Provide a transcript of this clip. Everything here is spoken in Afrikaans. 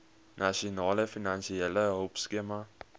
nasionale finansiële hulpskema